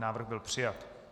Návrh byl přijat.